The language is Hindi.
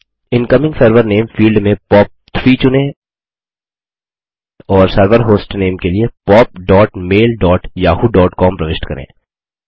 इनकमिंग सर्वर नामे फील्ड में पॉप3 चुनें और सर्वर होस्टनेम के लिए pop dot mail dot Yahoo dot com प्रविष्ट करें